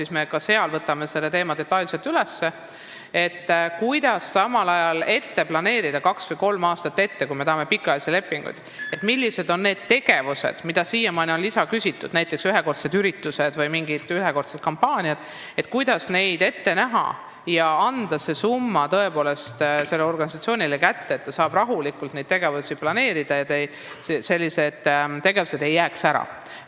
Seal me võtame selle teema uuesti detailselt üles, et arutada, kuidas ette näha, millised on need tegevused, milleks siiani on lisaraha küsitud, näiteks ühekordsed üritused või mingid kampaaniad, ja anda see summa tõepoolest selle organisatsiooni kätte, et ta saaks rahulikult tegevusi planeerida ja sellised tegevused ei jääks ära.